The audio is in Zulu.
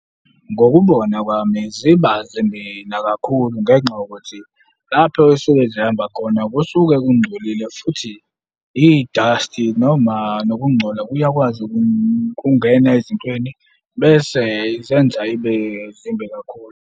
Ngokubona kwami ziba zimbi nakakhulu ngenxa yokuthi lapho esuke zihamba khona kusuke kungcolile futhi i-dust-i noma nokungcola kuyakwazi ukungena ezintweni bese zenza ibe zimbi kakhulu.